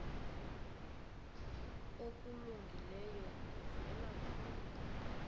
okulungileyo kuvela kuye